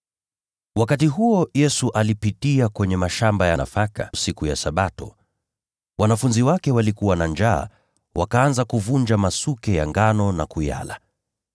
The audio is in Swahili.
Wakati huo Yesu alipitia kwenye mashamba ya nafaka siku ya Sabato. Wanafunzi wake walikuwa na njaa, nao wakaanza kuvunja masuke ya nafaka na kuyala.